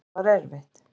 Þetta var erfitt